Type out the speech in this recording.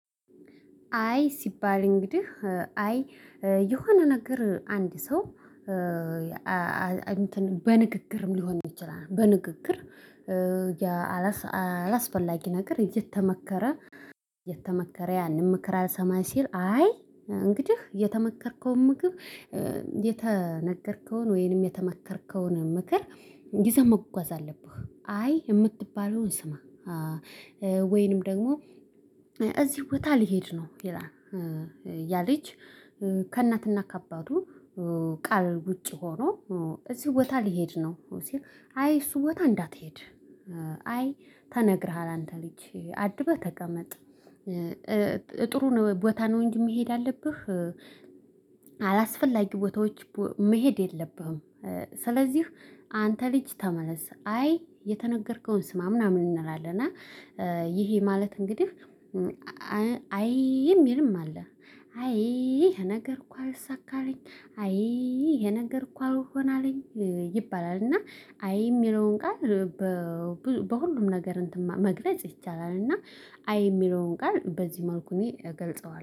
አይ ሲባል እንግዲህ አይ የሆነ ነገር አንድ ሰው በንግግርም ሊሆን ይችላል። በንግግር አላስፈላጊ ነገር እየተመከረ እየተመከረ ያንን ምክር አልሰማኝ ሲል። አይ እንግዲህ የተመከርከውን ምክር የተነገርከውን ወይንም የተመከርከውን ምክር ይዘህ መጓዝ አለብህ። አይ የምትባለውን ስማ ወይንም ደግሞ እዚህ ቦታ ልሄድ ነው ይላል። ያ ልጅ ከእናትና ከአባቱ ቃል ውጪ ሆኖ እዚህ ቦታ ልሄድ ነው። አይ እሱ ቦታ እንዳትሄድ አይ ተነግረሃል አንተ ልጅ አድበህ ተቀመጥ። ጥሩ ነው ቦታ ነው እንጂ መሄድ ያአለብህ። አላስፈላጊ ቦታዎች መሄድ የለብህም። ስለዚህ አንተ ልጅ ተመለስ አይ የተነገርከውን ስማ ምናምን እንላለን። እና ይሄ ማለት እንግዲህ አይ የሚልም አለ። አይ ይሄ ነገር እኮ አልሳካ አልኝ አይ የነገርኩ አልሆን አለኝ ይባላል። እና አይ የሚለውን ቃል በሁሉም ነገር እንትን መግለጽ ይቻላል። እና አይ የሚለውን ቃል በዚህ መልኩ እኔ እገልጸዋለሁ